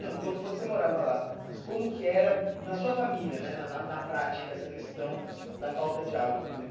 Não, quando você morava lá, como que era na sua família né, na na na prática, essa questão da falta de água, por exemplo?